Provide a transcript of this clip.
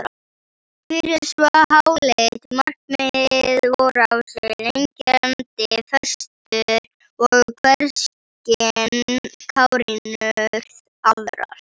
Fyrir svo háleitt markmið voru á sig leggjandi föstur og hverskyns kárínur aðrar.